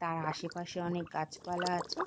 তার আশেপাশে অনেক গাছপালা আছে।